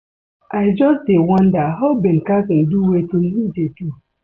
I just dey wonder how Ben Carson do wetin he do